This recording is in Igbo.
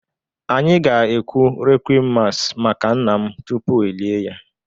Anyị ga-ekwu requiem mass maka nna m tupu e lie ya